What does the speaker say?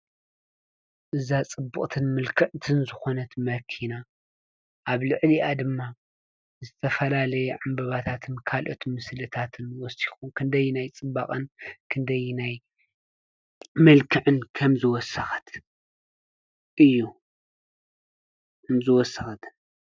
እምዝወሰቐትን ምልከዕትን ዝኾነት መኪና ኣብ ልዕሊኣ ድማ ዝተፈላለየ ዕምበባታትን ካልኦት ምስልታትን ወቲኹ ክንደይ ናይ ጽባቐን ክንደይናይ ምልክዕን ከምዝወሰት እዩ ምዝወሰቐትን።